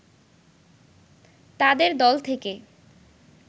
তাদের দল থেকে